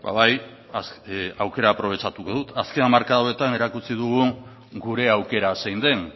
bai ba bai aukera aprobetxatuko dut azken hamarkada hauetan erakutsi dugu gure aukera zein den